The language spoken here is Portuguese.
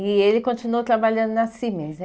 E ele continuou trabalhando na Cimes, é